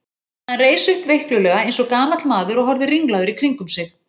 Hann reis upp veiklulega eins og gamall maður og horfði ringlaður í kringum sig.